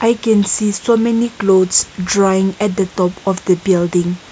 i can see so many clothes drawing at the top of the building.